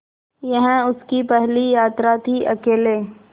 यह उसकी पहली यात्रा थीअकेले